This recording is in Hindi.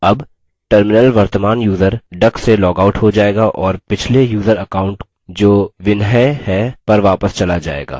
अब terminal वर्तमान यूज़र duck से logs out हो जाएगा और पिछले यूज़र account जो vinhai है पर वापस चला जाएगा